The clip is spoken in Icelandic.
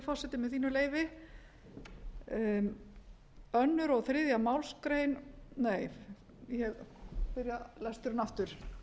forseti með þínu leyfi annað og þriðju málsgrein nei ég byrja lesturinn aftur